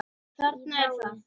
Þarna er það!